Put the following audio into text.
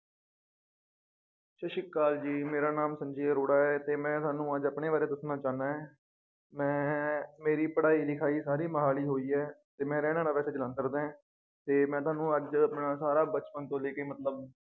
ਸਤਿ ਸ਼੍ਰੀ ਅਕਾਲ ਜੀ ਮੇਰਾ ਨਾਮ ਸੰਜੇ ਅਰੋੜਾ ਹੈ ਤੇ ਮੈ ਤੁਹਾਨੂੰ ਅੱਜ ਆਪਣੇ ਬਾਰੇ ਦੱਸਣਾ ਚਾਹੁੰਨਾ ਏ ਮੈ ਮੇਰੀ ਪੜ੍ਹਾਈ ਲਿਖਾਈ ਸਾਰੀ ਮੋਹਾਲੀ ਹੋਈ ਏ ਤੇ ਮੈ ਰਹਿਣ ਵਾਲਾ ਵੈਸੇ ਜਲੰਧਰ ਦਾ ਏਂ ਤੇ ਮੈ ਤੁਹਾਨੂੰ ਅੱਜ ਆਪਣਾ ਸਾਰਾ ਬਚਪਨ ਤੋਂ ਲੇਕੇ ਮਤਲਬ